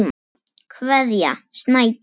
Kveðja, Snædís.